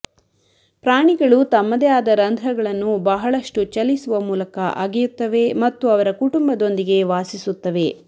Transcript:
ಪ್ರಾಣಿಗಳು ತಮ್ಮದೇ ಆದ ರಂಧ್ರಗಳನ್ನು ಬಹಳಷ್ಟು ಚಲಿಸುವ ಮೂಲಕ ಅಗೆಯುತ್ತವೆ ಮತ್ತು ಅವರ ಕುಟುಂಬದೊಂದಿಗೆ ವಾಸಿಸುತ್ತವೆ